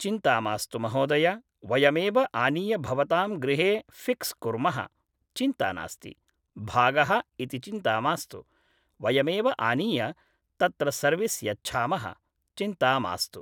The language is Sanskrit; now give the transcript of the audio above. चिन्ता मास्तु महोदय! वयमेव आनीय भवतां गृहे फि़क्स् कुर्मः, चिन्ता नास्ति, भागः इति चिन्ता मास्तु, वयमेव आनीय तत्र सर्विस् यच्छामः, चिन्ता मास्तु